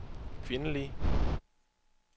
kvindelige